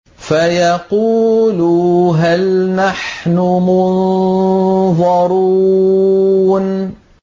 فَيَقُولُوا هَلْ نَحْنُ مُنظَرُونَ